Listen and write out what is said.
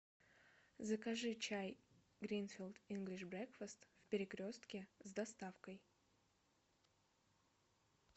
закажи чай гринфилд инглиш брекфест в перекрестке с доставкой